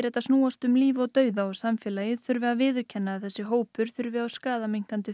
þetta snúist um líf og dauða og samfélagið þurfi að viðurkenna að þessi hópur þurfi á skaðaminnkandi